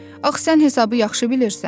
Axı sən hesabı yaxşı bilirsən.